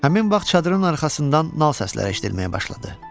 Həmin vaxt çadırın arxasından nal səsləri eşitməyə başladı.